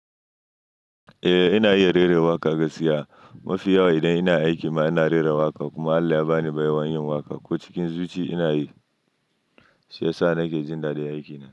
Eh ina iya rera waƙa gaskiya. Mafiya wa idan ina aiki ma ina rera waƙa kuma Allah ya ba ni baiwar yin waƙa ko cikin zuci ina yi. Shi yasa nake jin daɗin aikina.